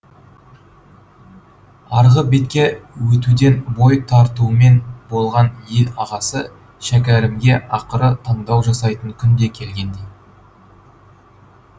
арғы бетке өтуден бой тартумен болған ел ағасы шәкәрімге ақыры таңдау жасайтын күн де келгендей